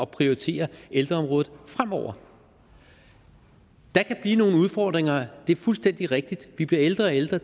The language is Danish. prioritere ældreområdet fremover der kan blive nogle udfordringer det er fuldstændig rigtigt vi bliver ældre og ældre